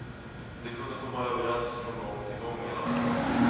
De kunde komma överens från gång till gång, menade han.